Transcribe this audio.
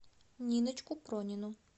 ниночку пронину